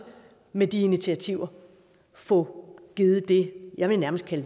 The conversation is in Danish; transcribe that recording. med de initiativer at få givet det jeg nærmest vil